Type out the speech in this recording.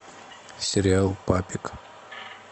сериал папик